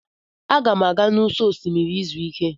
Aga m aga n'ụsọ osimiri izu ike.